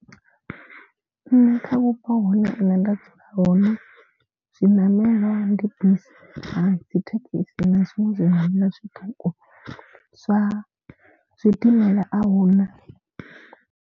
Nṋe kha vhupo hune nṋe nda dzula hone zwiṋamelwa ndi bisi na dzithekhisi na zwiṅwe zwimelwa zwiṱuku zwa zwidimela ahuna.